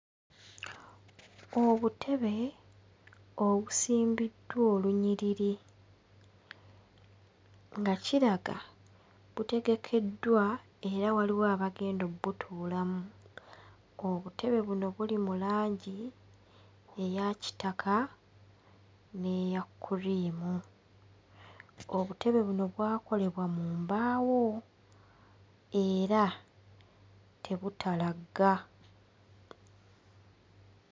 Obutebe obusimbiddwa olunyiriri nga kiraga butegekeddwa era waliwo abagenda obbutuulamu. Obutebe buno buli mu langi eya kitaka n'eya cream, obutebe buno bwakolebwa mu mbaawo era tebutalagga.